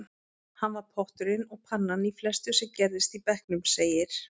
Hann var potturinn og pannan í flestu sem gerðist í bekknum, segir